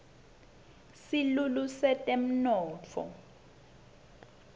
silulu setemnotfo